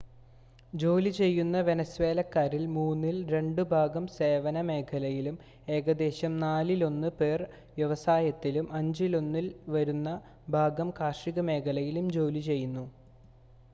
ജോലി ചെയ്യുന്ന വെനസ്വേലക്കാരിൽ മൂന്നിൽ രണ്ട് ഭാഗം സേവന മേഖലയിലും ഏകദേശം നാലിലൊന്ന് പേർ വ്യവസായത്തിലും അഞ്ചിലൊന്ന് വരുന്നൊരു ഭാഗം കാർഷിക മേഖലയിലും ജോലി ചെയ്യുന്നു